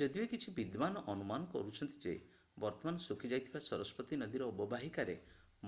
ଯଦିଓ କିଛି ବିଦ୍ୱାନ ଅନୁମାନ କରୁଛନ୍ତି ଯେ ବର୍ତ୍ତମାନ ଶୁଖିଯାଇଥିବା ସରସ୍ୱତୀ ନଦୀର ଅବବାହିକାରେ